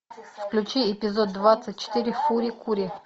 включи эпизод двадцать четыре фури кури